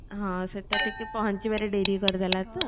ହଁ ସେଟା କିକେ ପହଞ୍ଚିବାରେ ଡେରିକରିଦେଲା ତ